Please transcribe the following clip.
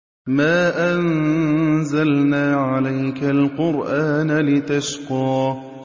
مَا أَنزَلْنَا عَلَيْكَ الْقُرْآنَ لِتَشْقَىٰ